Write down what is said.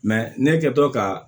ne kɛtɔ ka